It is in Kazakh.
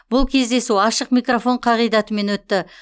бұл кездесу ашық микрофон қағидатымен өтті